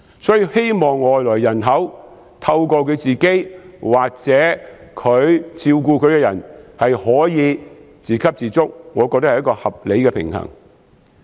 所以，希望外來人口可以透過自己或照顧者做到自給自足，我認為是合理的平衡。